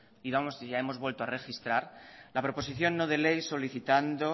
digamos que ya hemos vuelto a registrar la proposición no de ley solicitando